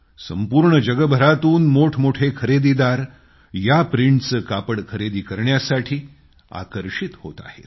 संपूर्ण जगभरातून मोठे मोठे खरेदीदार या प्रिंटचे कापड खरेदी करण्यासाठी आकर्षित होत आहेत